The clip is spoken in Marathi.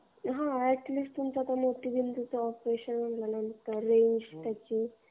हां, अॅट लीस्ट तुमचा मोतीबिंदूचं ऑपरेशन झालं तर ते.